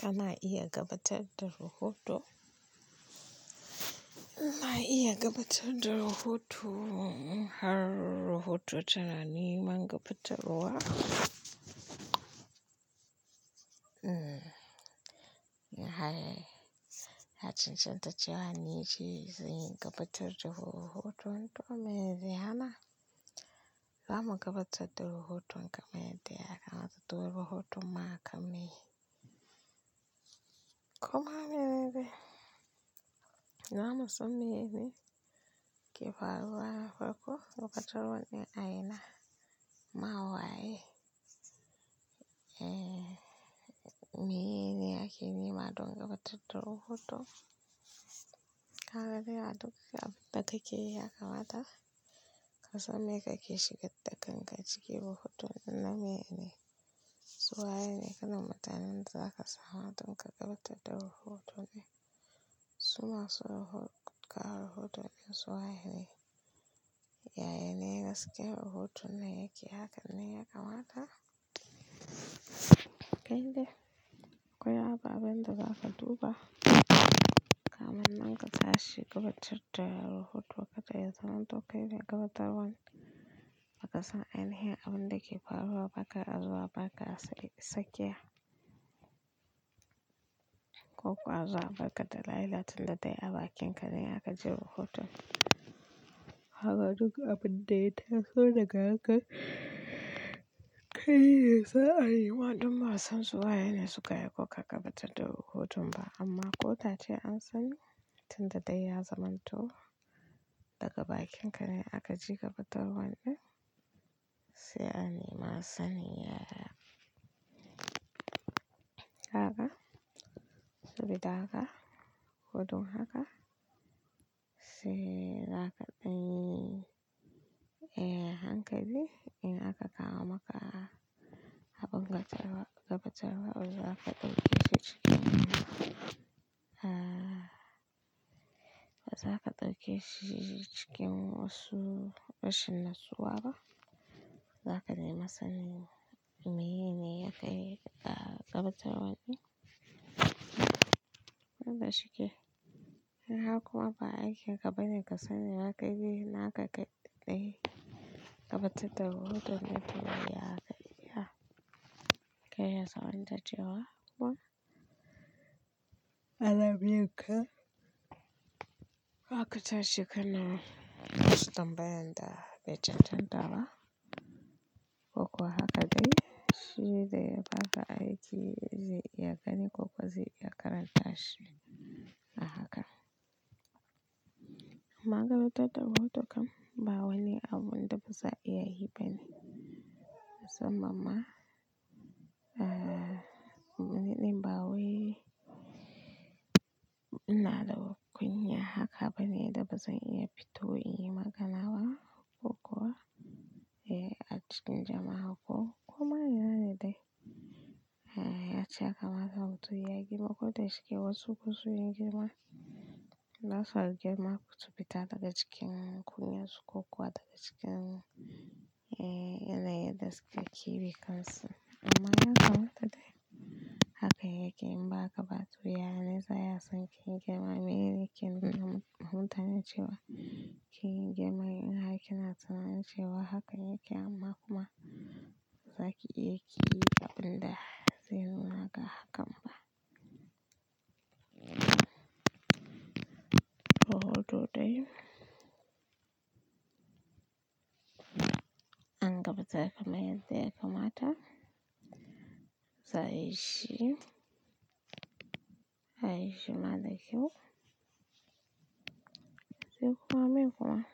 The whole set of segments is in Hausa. Kana iya gabatar da rahoto? Ina iya gabatar da rahoto har rahoto tara ni man gabatarwa. Na haye, na cancanta cewa ni ce zai gabatar da rahoto tun tuni me dai hana? Zamu gabatar da rahoto in kamai dai aka mata tuwo rahoto ma aka mai. Ko ma me me dai? Na musa mene ke faruwa farko lokacin wani a ina? Ma wa ye? Meyeni ake nema don gabatar da rahoto? Haka dai a duk abin da kake yakamata ka san me kake shigar da kan ka cike rahoto na mene ne. Su waye ne kanin mutanen za ka samu a lokacin gabatar da rahoto ne? Su ma su rahoto ka rahoto ɗin su waye ne? Yaya ne gaske rahoto na yake? Hakan ne yakamata? Kai dai akwai haka abin da za ka duba. Kamin man ka tashi gabatar da rahoto, wa kaɗa ya zamanto kai ne gabatarwan. Ba ka san ainihin abin da ke faruwa ba ka azura ba ka sakiya. Ko kuwa azura ba ka da laila tun da dai a bakin ka ne aka ji rahoto. Haka duk abin da ya taso daga haka kai ne za a yi waɗannan masu waye ne suka yi ko ka gabatar da rahoto ba amma ko tace an sani tun da dai ya zamanto daga bakin ka ne aka ji gabatarwan ɗin sai an yi ma sani. Haka, sabida haka, hudun haka sai za ka ɗai hankali in aka kawo maka abin gatarwa gabatarwa za ka ɗauke shi cikin za ka ɗauke shi cikin wasu rashin natsuwa ba. Za ka nemi sani me ne yake daga gabatarwan ɗin. Ban da shike. In haka kuma ba aiki ka bari ka sani haka dai na haka kaɗai ka ɗai gabatar da rahoto na tun da dai aka yi. Kai ya za'anta cewa kuma kwana biyu ka, haka tashi ka nema wasu tambayan da bai jatan dawa ko kuwa haka dai shi dai ba ka aiki zai iya gani ko kuwa zai iya karanta shi a haka. Maganar ta da rahoto kam bawani abun da baza iya yi bane. Sabama niɗin ba waye. Ina da kunya haka bane da bazan iya fito in yi magana ba ko kuwa a cikin jama'a ko, ko ma yana dai. Ya ci haka mata hoto ya girma ko da shike wasu kusun yin girma. Na saurari girma su fita daga cikin kunyar su ko kuwa daga cikin yanayin gaske da kike kansu. Amma yanzu wata dai haka yake in ba ka ba tuya ne zai iya son ka yin girma. Mene ne ke buga mutane cewa ki yin girma in haka kina tunanin cewa haka yake amma kuma zaki iya ki yi abin da zai nuna ga hakan ba. Rahoto dai an gabatar kam yadda yakamata. Za a yi shi, a yi shi mara kyau. Sai kuma me kuma?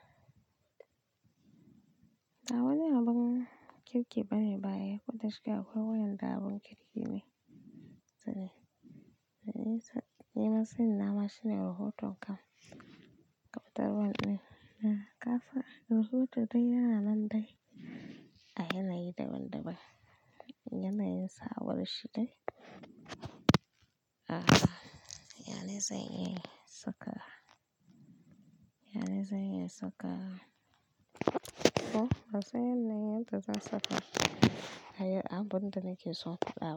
Bawani abin kirki bane baya ko da shike akwai wayanda abin kirki ne. Sune. Na yi sa-- yi ma sani na ma shine rahoton kam gabatarwan ɗin. Kasa, rahoto dai yana nan dai a yanayi daban-daban. Yanayin samarshi dai yana zai iya saka, yana zai iya saka. Ko ba sai yanayin da za a saka ayi abun da nake so ba.